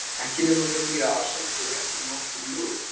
Ekki nema með því að afsala sér réttum norskum lögum.